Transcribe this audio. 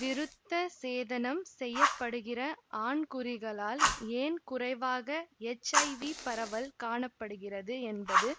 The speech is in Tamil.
விருத்த சேதனம் செய்யப்படுகிற ஆண்குறிகளால் ஏன் குறைவாக எச்ஐவி பரவல் காண படுகிறது என்பது